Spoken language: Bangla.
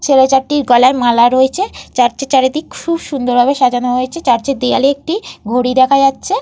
ছেলে চারটির গলায় মালা রয়েছে। চার্চ -এর চারিদিক খুব সুন্দর ভাবে সাজানো হয়েছে। চার্চ -এর দেয়ালে একটি ঘড়ি দেখা যাচ্ছে।